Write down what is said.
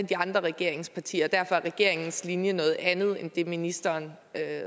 de andre regeringspartier og derfor er regeringens linje noget andet end det ministeren